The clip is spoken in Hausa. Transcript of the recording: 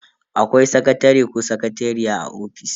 Akwai sakatare ko sakatariya a office.